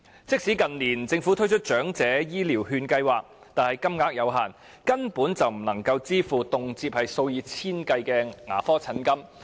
即使政府近年推出長者醫療券計劃，但金額有限，根本不足以支付動輒數以千計的牙科診金。